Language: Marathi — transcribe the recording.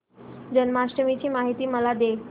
जन्माष्टमी ची माहिती मला दे